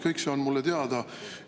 Kõik see on mulle teada.